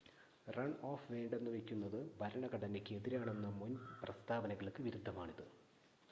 run off വേണ്ടെന്ന് വെക്കുന്നത് ഭരണഘടനയ്ക്ക് എതിരാണെന്ന മുൻ പ്രസ്താവനകൾക്ക് വിരുദ്ധമാണിത്